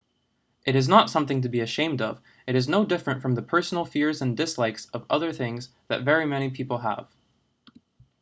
it is not something to be ashamed of it is no different from the personal fears and dislikes of other things that very many people have